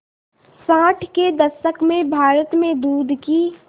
साठ के दशक में भारत में दूध की